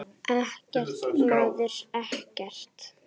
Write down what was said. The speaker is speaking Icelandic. Ekkert, maður, ekkert.